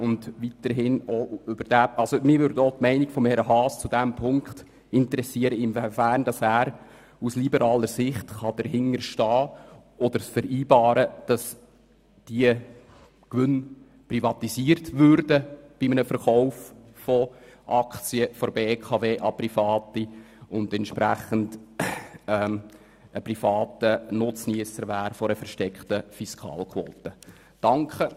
Zudem würde mich noch interessieren, inwiefern Grossrat Haas es mit einer liberalen Sicht vereinbaren kann, dass diese Gewinne bei einem Verkauf von BKW-Aktien an Private privatisiert würden und es dementsprechend private Nutzniesser einer versteckten Fiskalquote gäbe.